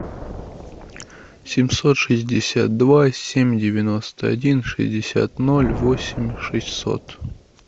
семьсот шестьдесят два семь девяносто один шестьдесят ноль восемь шестьсот